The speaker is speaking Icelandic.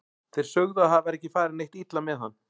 Þeir sögðu að það væri ekki farið neitt illa með hann.